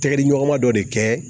Tɛgɛdiɲɔgɔnma dɔ de kɛ